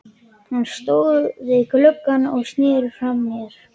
Hann stóð við gluggann og sneri frá mér.